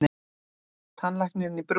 Tannlæknir í brúnni.